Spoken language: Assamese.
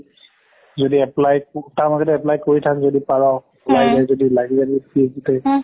যদি apply। time ৰ ভিতৰত যদি apply কৰি থাক যদি পাৰ ওলাই যাই যদি, লাগিলে PHD